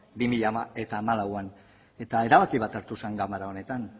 bi mila hamalauan eta erabaki bat hartu zuen ganbara honetan